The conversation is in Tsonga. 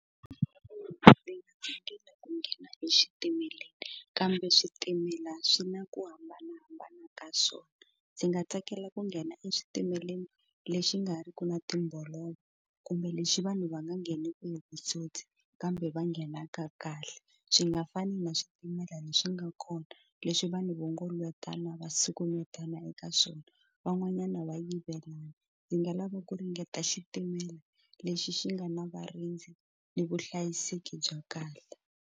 Ndzi nga nghena ku nghena exitimeleni kambe switimela swi na ku hambanahambana ka swona ndzi nga tsakela ku nghena eswitimeleni lexi nga ri ki na timbolovo kumbe lexi vanhu va nga ngheneki hi vutsotsi kambe va nghenaka kahle swi nga fani na xitimela lexi nga kona leswi vanhu vo ngo letiwana va sukumetana eka swona van'wanyana va yivela ndzi nga lava ku ringeta xitimela lexi xi nga na varindzi ni vuhlayiseki bya kahle.